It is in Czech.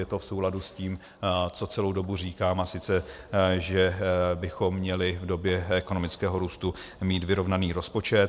Je to v souladu s tím, co celou dobu říkám, a sice že bychom měli v době ekonomického růstu mít vyrovnaný rozpočet.